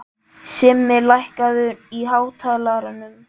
Simmi, lækkaðu í hátalaranum.